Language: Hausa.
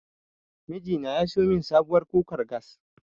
Miji na ya siyo min sabuwar kukar gas.